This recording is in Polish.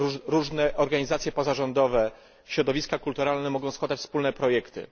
Różne organizacje pozarządowe, środowiska kulturalne mogą składać wspólne projekty.